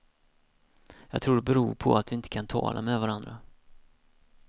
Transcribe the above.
Jag tror det beror på att vi inte kan tala med varandra.